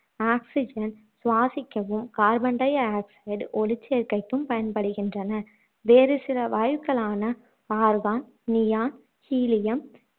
oxygen சுவாசிக்கவும் carbon di-oxide ஒளிச்சேர்க்கைக்கும் பயன்படுகின்றன வேறு சில வாயுக்களான argon, neon, helium